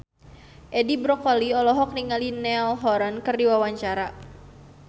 Edi Brokoli olohok ningali Niall Horran keur diwawancara